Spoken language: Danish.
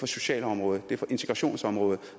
socialområdet det er på integrationsområdet